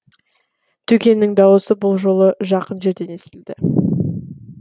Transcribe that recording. төкеннің дауысы бұл жолы жақын жерден естілді